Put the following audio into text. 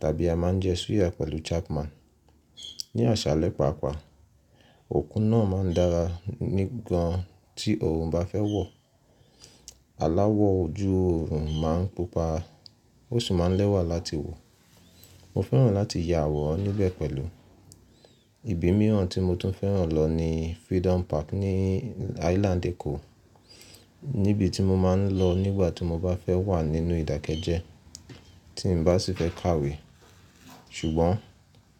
tàbí a máa ń jẹ suya pẹ̀lú Chapman. Ni àṣálẹ́ pàápàá, òkun náà máa ń dára ní gan tí oòrùn bá fẹ́ wọ̀. Àláwọ̀ ojú oòrùn máa ń pupa, ó sì máa ń lẹ́wà láti wò. Mo fẹ́ràn láti ya àwọ̀ran níbẹ̀ pẹ̀lú. Ibi mìíràn tí mo tún fẹ́ràn lọ ni Freedom Park ní Island Èkó. Nibi tí mo máa ń lọ nígbà tí mo bá fẹ́ wà nínú ìdákẹ́jẹ́, tí n bá sì fẹ́ kàwé. Ṣùgbọ́n